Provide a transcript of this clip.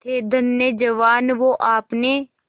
थे धन्य जवान वो आपने